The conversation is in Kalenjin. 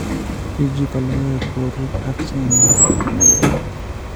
UG ko logoek ko rur ak che yamaat komnyee.